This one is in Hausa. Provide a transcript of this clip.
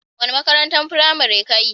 Wani makarantan firamari ka yi?